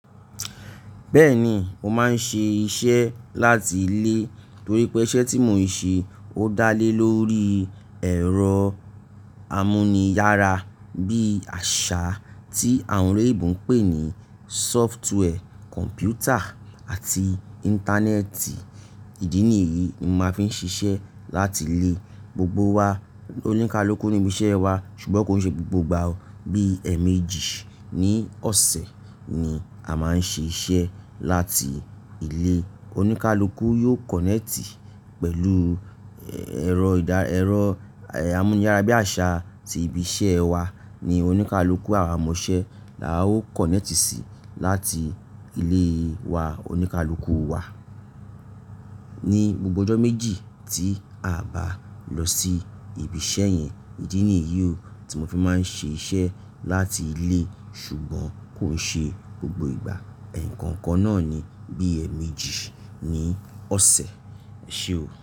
Bẹ́ẹ̀ni, mo máa ń ṣe iṣẹ́ láti ilé torí pé iṣẹ́ tí mo ń ṣe ó dá lé lórí ẹ̀rọ amuniyara bí àṣá tí àwọn oloyinbọ ń pè ní sófútùwẹ̀, kọ̀mpútà àti íńtánẹ́ẹ̀tì. Ìdí nìyí ni mo fi máa ń ṣiṣẹ́ láti ilé. Gbogbo wa, oníkálukú ní ibi iṣẹ́ wa ṣùgbọ́n kò ń ṣe gbogbo ìgbà o. Bí ẹ̀ẹ̀méjì ní ọ̀sẹ̀ ni a máa ń ṣe iṣẹ́ láti ilé. Oníkálukú yóò kọ̀nẹ́ẹ̀tì pẹ̀lú ẹ̀rọ ìdá- ẹ̀rọ amuniyara bí àṣá ti ibi iṣẹ́ wa ni oníkálukú àwa ọmọ iṣẹ́ la ó kọ̀nẹ́ẹ̀tì sí láti ilé wa oníkálukú wa. Ni gbogbo ọjọ́ méjì tí a bá lọ sí ibi iṣẹ́ yẹn. Ìdí nìyí o tí mo fi máa ń ṣe iṣẹ́ láti ilé ṣùgbọ́n kò ń ṣe gbogbo ìgbà. Ẹ̀ẹ̀kọ̀ńkọ̀ náà ni bí ẹ̀ẹ̀méjì ní ọ̀sẹ̀. Ese o.